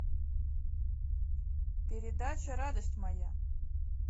передача радость моя